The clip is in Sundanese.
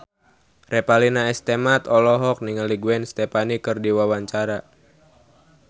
Revalina S. Temat olohok ningali Gwen Stefani keur diwawancara